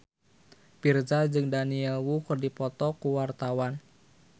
Virzha jeung Daniel Wu keur dipoto ku wartawan